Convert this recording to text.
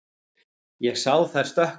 Ég sá þær stökkva.